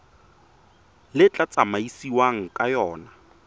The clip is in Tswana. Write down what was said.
le tla tsamaisiwang ka yona